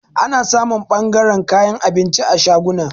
Ana samun ɓangaran kayan abinci a shaguna.